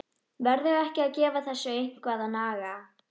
Verður ekki að gefa þessu eitthvað að naga?